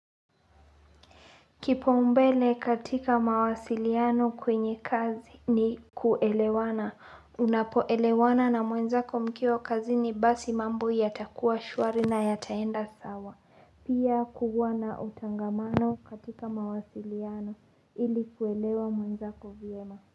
Kipou mbele katika mawasiliano kwenye kazi ni kuelewana, unapoelewana na mwenzako mkiwa kazi ni basi mambo ya takuwa shwari na ya taenda sawa, pia kuwa na utangamano katika mawasiliano ili kuelewa mwenzako vyema.